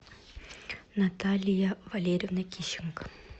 наталья валерьевна кищенко